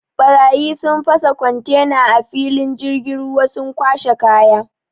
Ɓarayi sun fasa kontena a filin jirgin ruwa sun kwashe kaya.